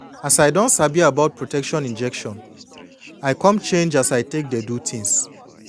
as i don sabi about protection injection i come change as i take dey do thins